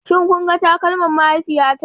Shin kun ga takalman mahaifiyata?